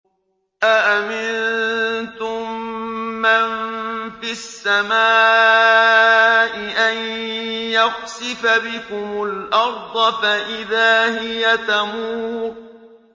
أَأَمِنتُم مَّن فِي السَّمَاءِ أَن يَخْسِفَ بِكُمُ الْأَرْضَ فَإِذَا هِيَ تَمُورُ